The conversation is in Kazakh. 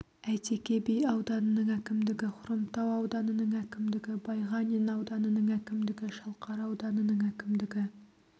әйтеке би ауданының әкімдігі хромтау ауданының әкімдігі байғанин ауданының әкімдігі шалқар ауданының әкімдігі